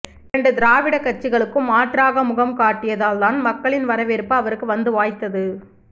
இரண்டு திராவிடக் கட்சிகளுக்கும் மாற்றாக முகம் காட்டியதால் தான் மக்களின் வரவேற்பு அவருக்கு வந்து வாய்த்தது